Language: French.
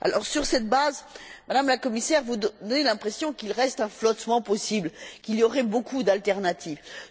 Sur cette base, Madame la Commissaire, vous donnez l'impression qu'il reste un flottement possible, qu'il y aurait beaucoup d'options.